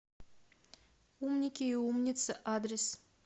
умники и умницы адрес